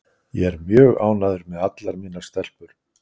Ég er mjög ánægður með allar mínar stelpur.